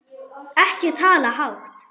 Ekki tala hátt!